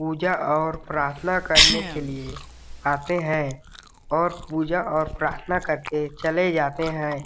पूजा और प्रार्थना करने के लिए आते हैं और पूजा और प्रार्थना करते चले जाते हैं।